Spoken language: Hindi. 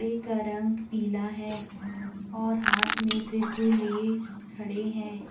एक का रंग पीला है और हाथ में त्रिशूल लिए खड़े हैं।